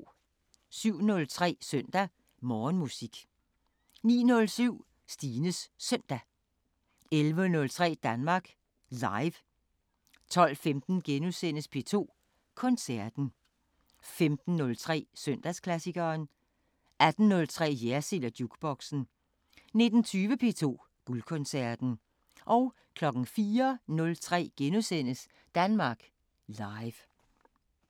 07:03: Søndag Morgenmusik 09:07: Stines Søndag 11:03: Danmark Live 12:15: P2 Koncerten * 15:03: Søndagsklassikeren 18:03: Jersild & Jukeboxen 19:20: P2 Guldkoncerten 04:03: Danmark Live *